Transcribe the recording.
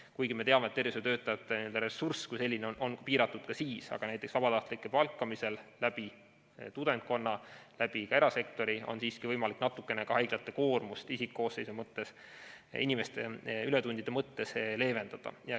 Kuigi me teame, et tervishoiutöötajate ressurss kui selline on piiratud ka siis, aga näiteks vabatahtlike palkamisel tudengkonnast, ka erasektorist, on siiski võimalik natukene haiglate koormust isikkoosseisu mõttes, inimeste ületundide mõttes leevendada.